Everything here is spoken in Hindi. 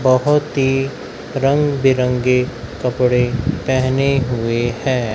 बहोत ही रंग बिरंगे कपड़े पहने हुए हैं।